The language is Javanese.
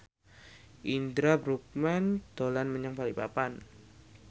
Indra Bruggman dolan menyang Balikpapan